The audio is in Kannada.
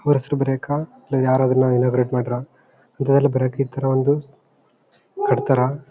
ಅಲ್ಲ ಯಾರಾದರೂ ಇನಾಗರೇಟ್ ಮಾಡ್ರ ಇಂತದೆಲ್ಲ ಬರಕ್ಕೆ ಈ ತರ ಒಂದು ಕಟ್ ತಾರಾ.